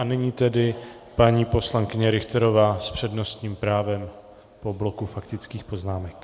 A nyní tedy paní poslankyně Richterová s přednostním právem po bloku faktických poznámek.